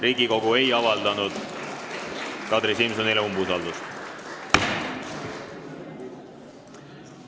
Riigikogu ei avaldanud Kadri Simsonile umbusaldust.